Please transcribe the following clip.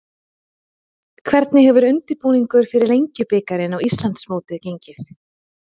Hvernig hefur undirbúningur fyrir Lengjubikarinn og Íslandsmótið gengið?